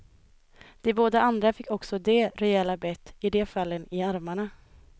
De båda andra fick också de rejäla bett, i de fallen i armarna.